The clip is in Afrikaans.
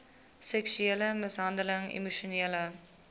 seksuele mishandeling emosionele